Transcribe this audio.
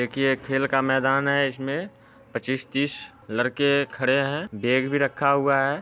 देखिए एक खेल का मैदान है इसमें पच्चीस तीस लड़के खड़े हैं बेग भी रखा हुआ है।